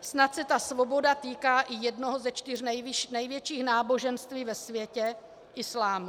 snad se ta svoboda týká i jednoho ze čtyř největších náboženství ve světě - islámu.